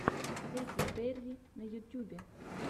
кэти перри на ютюбе